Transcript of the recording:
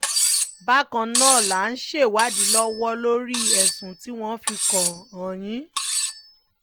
bákan náà là ń ṣèwádì lọ́wọ́ lórí ẹ̀sùn tí wọ́n fi kàn án yìí